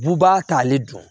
Bubaga t'ale dɔn